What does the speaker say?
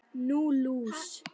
Nú, lús